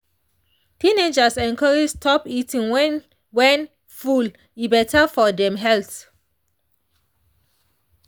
teenagers encouraged stop eating when when full e better for dem health.